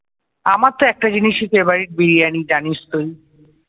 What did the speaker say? আমার তো একটা জিনিসই favorite বিরিয়ানি জানিস তুই?